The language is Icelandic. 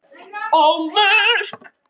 á Mörk.